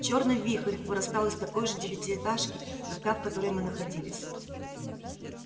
чёрный вихрь вырастал из такой же девятиэтажки как та в которой мы находились